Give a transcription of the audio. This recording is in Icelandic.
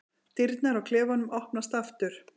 Dyrnar á klefanum opnast aftur.